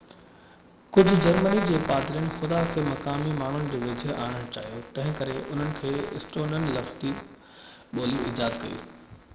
ڪجهہ جرمني جي پادرين خدا کي مقامي ماڻهن جي ويجهو آڻڻ چاهيو تنهنڪري انهن اسٽونين لفظي ٻولي ايجاد ڪئي